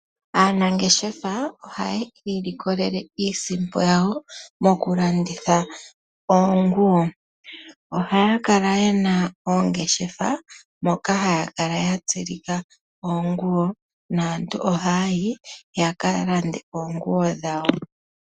Aanangeshefa ohaayi likolele iisimpo yawo, mokulanditha oonguwo. Ohaya kala yena oongeshefa, moka haya kala ya tsilika oonguwo, naantu ohaya yi yaka lande oonguwo dhawo.